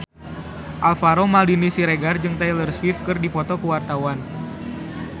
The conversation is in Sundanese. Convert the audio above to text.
Alvaro Maldini Siregar jeung Taylor Swift keur dipoto ku wartawan